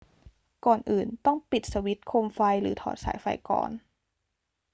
ก่อนอื่น ต้องปิดสวิตช์โคมไฟหรือถอดสายไฟก่อน